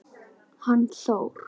Hann Þór?